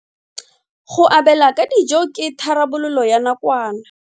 Go abela ka dijo ke tharabololo ya nakwana.